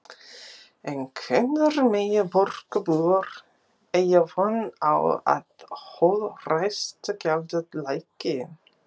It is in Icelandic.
En hvenær mega borgarbúar eiga von á að holræsagjaldið lækki?